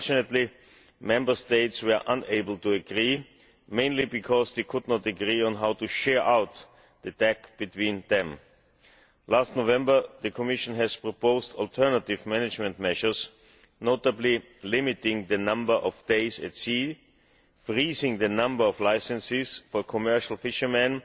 Unfortunately Member States were unable to agree, mainly because they could not agree on how to share the TAC between them. Last November the Commission proposed alternative management measures, notably limiting the number of days at sea, freezing the number of licences for commercial fishermen